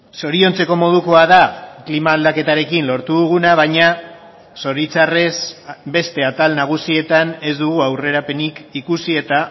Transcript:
zoriontzeko modukoa da klima aldaketarekin lortu duguna baina zoritzarrez beste atal nagusietan ez dugu aurrerapenik ikusi eta